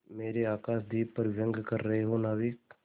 मेरे आकाशदीप पर व्यंग कर रहे हो नाविक